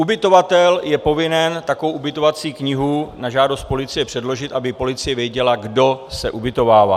Ubytovatel je povinen takovou ubytovací knihu na žádost polici předložit, aby policie věděla, kdo se ubytovává.